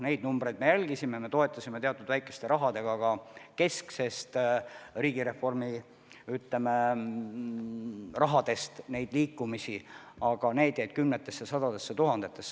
Neid numbreid me jälgisime ja toetasime seda liikumist teatud väikeste summadega ka kesksest riigireformi eelarvest, aga see jäi kümnetesse või sadadesse tuhandetesse.